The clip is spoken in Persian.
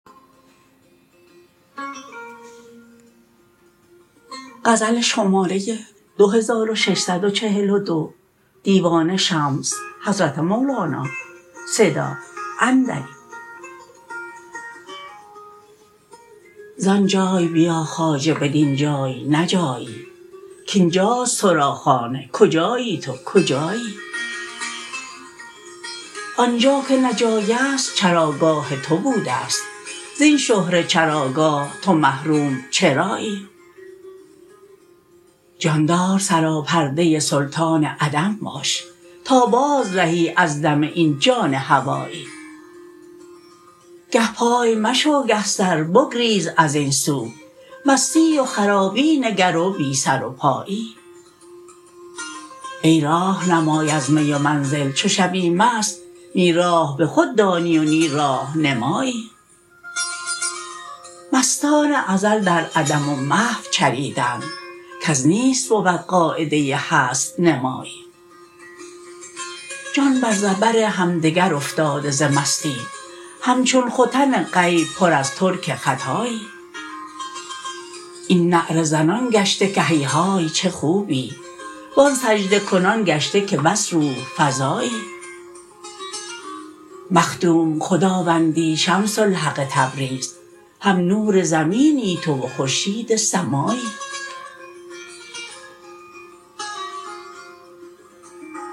زان جای بیا خواجه بدین جای نه جایی کاین جاست تو را خانه کجایی تو کجایی آن جا که نه جای است چراگاه تو بوده ست زین شهره چراگاه تو محروم چرایی جاندار سراپرده سلطان عدم باش تا بازرهی از دم این جان هوایی گه پای مشو گه سر بگریز از این سو مستی و خرابی نگر و بی سر و پایی ای راه نمای از می و منزل چو شوی مست نی راه به خود دانی و نی راه نمایی مستان ازل در عدم و محو چریدند کز نیست بود قاعده هست نمایی جان بر زبر همدگر افتاده ز مستی همچون ختن غیب پر از ترک خطایی این نعره زنان گشته که هیهای چه خوبی و آن سجده کنان گشته که بس روح فزایی مخدوم خداوندی شمس الحق تبریز هم نور زمینی تو و خورشید سمایی